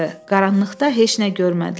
Qaranlıqda heç nə görmədilər.